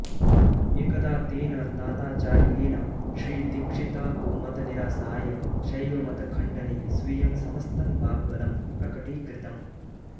एकदा तेन ताताचार्येण श्रीदीक्षितमतनिरासाय शैवमतखण्डने स्वीयं समस्तं वाग्बलं प्रकटीकृतम्